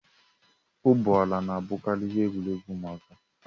Ụgbọ ala na-abụkarị ihe egwuregwu ụmụaka